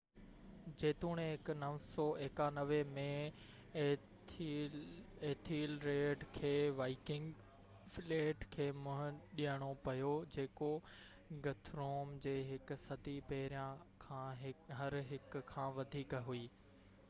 جيتوڻيڪ991 ۾ Ethelred کي Viking fleet کي منهن ڏيڻو پيو جيڪو گٿروم جي هڪ صدي پهريان کان هر هڪ کان وڌيڪ هئي